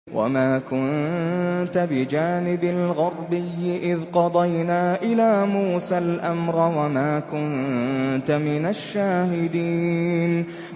وَمَا كُنتَ بِجَانِبِ الْغَرْبِيِّ إِذْ قَضَيْنَا إِلَىٰ مُوسَى الْأَمْرَ وَمَا كُنتَ مِنَ الشَّاهِدِينَ